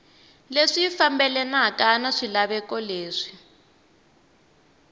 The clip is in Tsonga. leswi fambelanaka na swilaveko leswi